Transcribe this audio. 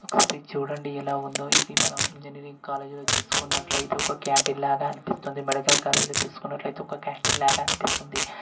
ఒకసారి ఇటు చుడండి ఎలా ఉందొ ఇది మనం ఇంజినీరింగ్ కాలేజీ లో చూసుకున్నట్లయితే ఒక కాంటీన్ లాగా అనిపిస్తుంది మెడికల్ కాలేజీలో చూసుకున్నట్లయితే ఒక కాంటీన్ లాగా అనిపిస్తుంది.